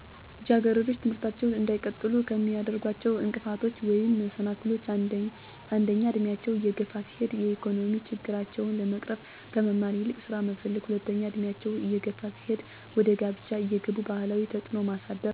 ልጃገረዶች ትምህርታቸውን እንዳይቀጥሉ ከሚያደርጓቸው እንቅፋቶች ወይም መሰናክሎች አንደኛ እድሜያቸው እየገፋ ሲሄድ የኢኮኖሚ ችግራቸውን ለመቅረፍ ከመማር ይልቅ ስራ መፈለገ፣ ሁለተኛ እድሜያቸው እየገፋ ሲሄድ ወደ ጋብቻ እንዲገቡ ባህላዊ ተፅዕኖ ማሳደር፣ ሦስተኛ የትምህርት ቤቶች ተደራሽ አለመሆን ለተለያዩ ፆታዊ ትንኮሳና ጥቃት ትምህርታቸውን እዲያቋርጡ ከፍተኛ ሚና ይጫወታሉ።